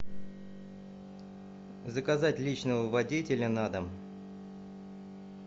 заказать личного водителя на дом